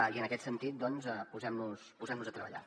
i en aquest sentit doncs posem nos a treballar